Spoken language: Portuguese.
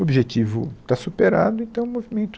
O objetivo está superado, então o movimento...